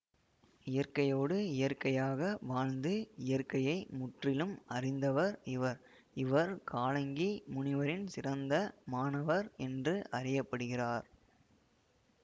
இயற்கையோடு இயற்கையாக வாழ்ந்து இயற்கையை முற்றிலும் அறிந்தவர் இவர் இவர் காலங்கி முனிவரின் சிறந்த மாணவர் என்று அறிய படுகிறார்